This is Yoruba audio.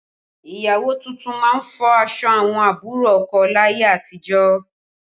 Ìyàwó tuntun máa ń fọ aṣọ àwọn àbúrò ọkọ láyé àtijọ́